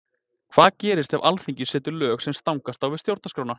Hvað gerist ef Alþingi setur lög sem stangast á við Stjórnarskrána?